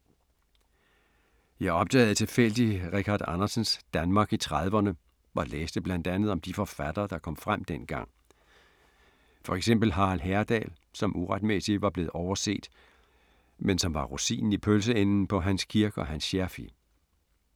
Jeg opdagede tilfældigt Richard Andersens Danmark i 30’rne og læste blandt andet om de forfattere, der kom frem dengang. For eksempel Harald Herdal, som uretmæssigt var blevet overset, men var som rosinen i pølseenden på Hans Kirk og Hans Scherfig.